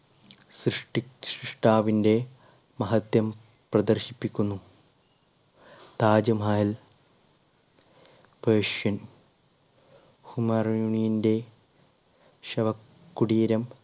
സൃഷ്ടാവിന്റെ മഹത്വം പ്രദർശിപ്പിക്കുന്നു താജ്മഹൽ persian ഹുമറോണിന്റെ ശവകുടീരം